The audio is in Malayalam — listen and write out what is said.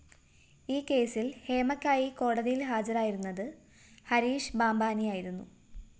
ഈ കേസില്‍ ഹേമയ്ക്കായി കോടതിയില്‍ ഹാജരായിരുന്നത് ഹരീഷ് ബാംബാനിയായിരുന്നു